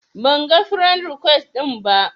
Banga firend rikwes ɗinki ba